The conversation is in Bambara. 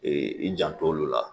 i jant' olu la